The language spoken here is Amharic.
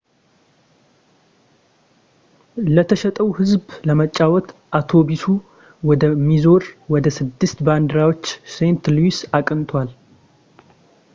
ለተሸጠው ህዝብ ለመጫወት አውቶቡሱ ወደ ሚዙሪ ወደ ስድስት ባንዲራዎች ሴንት ሉዊስ አቅንቷል